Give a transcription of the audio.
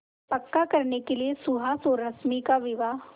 पक्का करने के लिए सुहास और रश्मि का विवाह